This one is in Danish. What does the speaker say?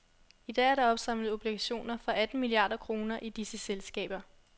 I dag er der opsamlet obligationer for atten milliarder kroner i disse selskaber.